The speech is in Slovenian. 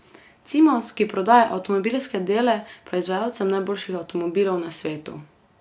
Cimos, ki prodaja avtomobilske dele proizvajalcem najboljših avtomobilov na svetu.